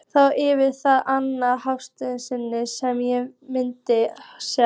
Þá yrði það annað hálfsystkinið sem ég fengi að sjá.